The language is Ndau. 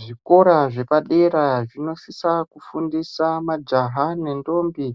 Zvikora zvepadera zvinosisa kufundisa majaha nentombi